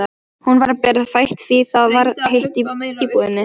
Hún var berfætt því það var heitt í íbúðinni.